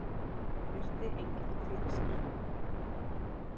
Virti engilinn fyrir sér.